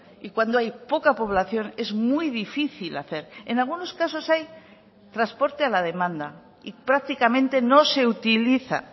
y cuando hay poca población es muy difícil hacer en algunos casos hay transporte a la demanda y prácticamente no se utiliza